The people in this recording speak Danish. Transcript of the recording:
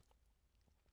DR K